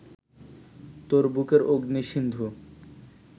তোর বুকের অগ্নি-সিন্ধু